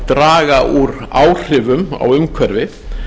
draga úr áhrifum á umhverfið